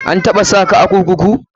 An taɓa saka a kurkuku?